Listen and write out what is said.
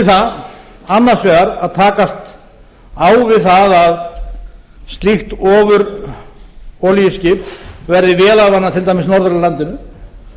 það annars vegar að takast á við það að slíkt ofurolíuskip verði vélarvana til dæmis norður af landinu